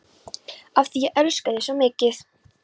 Af því ég elska þig svo mikið.